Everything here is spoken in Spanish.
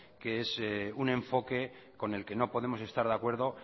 que es un enfoque con el que no podemos estar de acuerdo